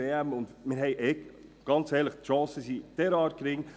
Zudem sind unsere Chancen – ganz ehrlich – derart gering.